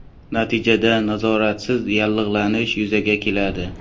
Natijada nazoratsiz yallig‘lanish yuzaga keladi.